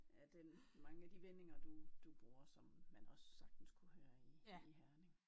Af den mange af de vendinger du du bruger som man også sagtens kunne høre i i Herning